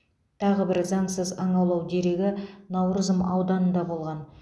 тағы бір заңсыз аң аулау дерегі науырзым ауданында болған